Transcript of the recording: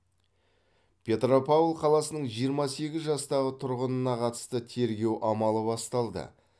петропавл қаласының жиырма сегіз жастағы тұрғынына қатысты тергеу амалы басталды